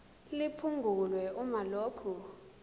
liphungulwe uma lokhu